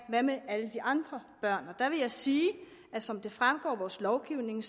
gøre med alle de andre børn og der vil jeg sige at som det fremgår af vores lovgivning